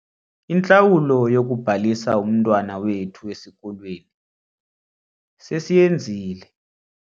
Intlawulo yokubhalisa umntwana wethu esikolweni sesiyenzile.